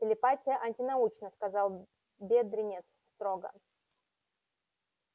телепатия антинаучна сказал бедренец строго